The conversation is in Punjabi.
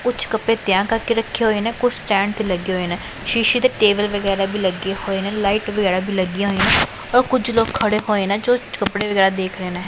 ਕੁੱਛ ਕੱਪੜੇ ਤਿਆਰ ਕਰਕੇ ਰੱਖੇ ਹੋਏ ਨੇਂ ਕੁੱਛ ਸਟੈਂਡ ਤੇ ਲੱਗੇ ਹੋਏ ਨੇਂ ਸ਼ੀਸ਼ੇ ਤੇ ਟੇਬਲ ਵਗੈਰਾ ਵੀ ਲੱਗੇ ਹੋਏ ਨੇਂ ਲਾਈਟ ਵਗੈਰਾ ਵੀ ਲੱਗਿਆਂ ਹੋਈਆਂ ਔਰ ਕੁਝ ਲੋਕ ਖੜੇ ਹੋਏ ਨੇਂ ਜੋ ਕੱਪੜੇ ਵਗੈਰਾ ਦੇਖ ਰਹੇ ਨੇਂ।